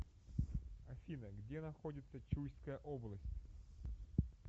афина где находится чуйская область